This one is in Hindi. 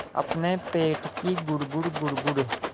अपने पेट की गुड़गुड़ गुड़गुड़